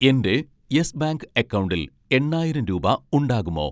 എൻ്റെ Yes Bank അക്കൗണ്ടിൽ എണ്ണായിരം രൂപ ഉണ്ടാകുമോ